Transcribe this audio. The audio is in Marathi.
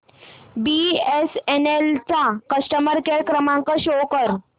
बीएसएनएल चा कस्टमर केअर क्रमांक शो कर